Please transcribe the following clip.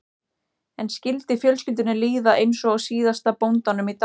En skyldi fjölskyldunni líða eins og síðasta bóndanum í dalnum?